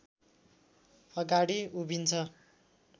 अगाडि उभिन्छ